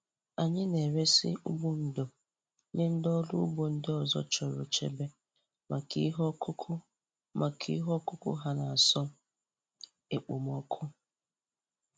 Anyị na-eresị ụgbụ ndò nye ndị ọrụ ugbo ndị ọzọ chọrọ nchebe maka ihe ọkụkụ maka ihe ọkụkụ ha n'asọ ekpomọkụ.